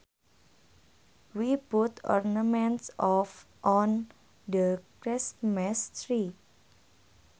We put ornaments on the Christmas tree